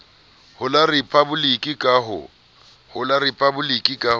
ho la riphaboliki ka ho